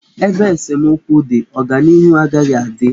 Ebe esemokwu dị, ọganịhu agaghị adị.